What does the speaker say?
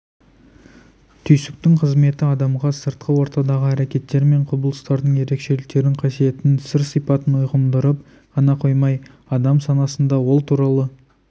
түйсіктің қызметі адамға сыртқы ортадағы әрекеттер мен құбылыстардың ерекшеліктерін қасиетін сыр-сипатын ұғындырып қана қоймай адам санасында ол туралы